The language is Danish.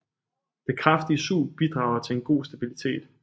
Det kraftige sug bidrager til en god stabilitet